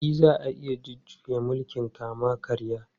E, za a iya jujjuya mulkin kama-karya.